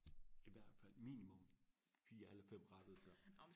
i hvertfald minimum fire eller fem